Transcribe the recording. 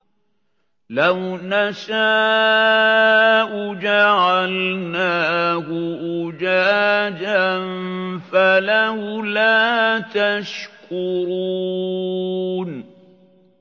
لَوْ نَشَاءُ جَعَلْنَاهُ أُجَاجًا فَلَوْلَا تَشْكُرُونَ